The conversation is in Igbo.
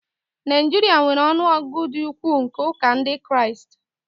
Nigeria nwere ọnụ ọgụgụ dị ukwuu nke ụka Ndị Kraịst